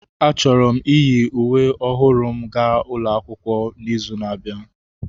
Achọrọ m iyi uwe ọhụrụ m gaa akwụkwọ n'izu na-abịa.